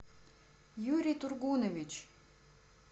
юрий тургунович